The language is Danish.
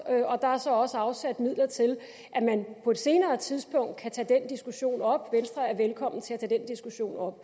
og der er så også afsat midler til at man på et senere tidspunkt kan tage den diskussion op når